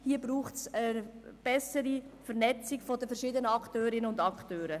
Hier braucht es eine bessere Vernetzung der verschiedenen Akteurinnen und Akteure.